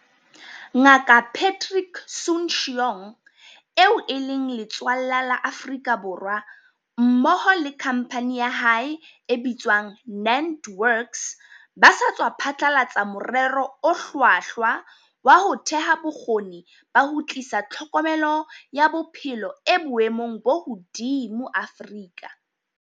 Nga kaPatrick Soon-Shiong, eo e leng letswallwa la Afrika Borwa, mmoho le khampani ya hae e bitswang NantWorks ba sa tswa phatlalatsa morero o hlwahlwa wa ho theha bo kgoni ba ho tlisa tlhokomelo ya bophelo e boemong bo hodimo Afrika.